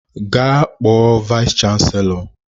Gaa kpọọ vayis chansilọ!